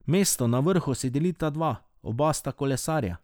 Mesto na vrhu si delita dva, oba sta kolesarja.